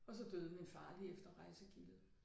Og så døde min far lige efter rejsegildet